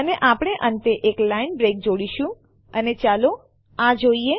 અને આપણે અંતે એક લાઈન બ્રેક જોડીશું અને ચાલો આ જોઈએ